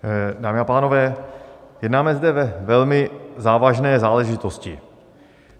Dámy a pánové, jednáme zde ve velmi závažné záležitosti.